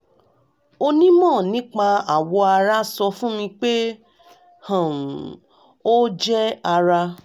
onímọ̀ nípa awọ ara sọ fún mi pé um ó jẹ́ ara